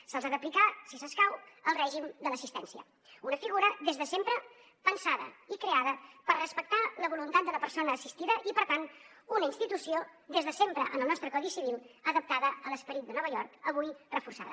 se’ls ha d’aplicar si escau el règim de l’assistència una figura des de sempre pensada i creada per respectar la voluntat de la persona assistida i per tant una institució des de sempre en el nostre codi civil adaptada a l’esperit de nova york avui reforçada